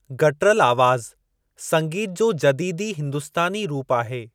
Guttural आवाज़ु संगीत जो जदीदी हिंदुस्तानी रूप आहे।